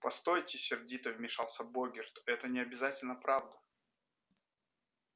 постойте сердито вмешался богерт это не обязательно правда